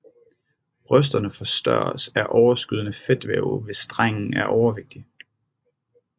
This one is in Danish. Brysterne forstørres af overskydende fedtvæv hvis drengen er overvægtig